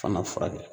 Fana furakɛ